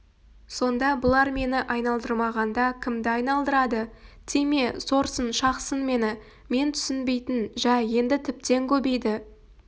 сонда бұлар мені айналдырмағанда кімді айналдырады тиме сорсын шақсын мені мен түсінбейтін жай енді тіптен көбейді